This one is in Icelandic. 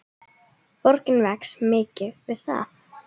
Borgin vex mikið við það.